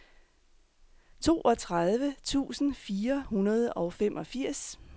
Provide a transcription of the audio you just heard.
toogtredive tusind fire hundrede og femogfirs